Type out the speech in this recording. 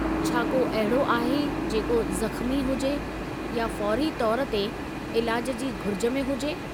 छा को अहिड़ो आहे जेको ज़ख़्मी हुजे या फ़ौरी तौर ते इलाज जी घुरिज में हुजे?